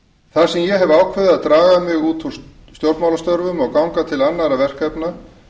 þar sem ég hef ákveðið að draga mig út úr stjórnmálastörfum og ganga til annarra verkefna